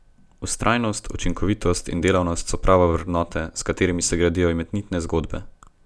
Vztrajnost, učinkovitost in delavnost so prave vrednote, s katerimi se gradijo imenitne zgodbe.